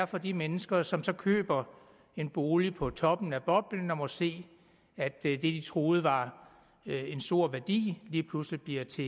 for de mennesker som så køber en bolig på toppen af boblen og må se at det de troede var en stor værdi lige pludselig bliver til